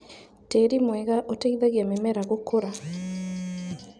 Tĩri mwega ũteithagia mĩmera gũkũra.